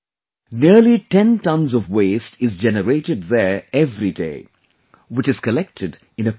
Nearly 10tonnes of waste is generated there every day, which is collected in a plant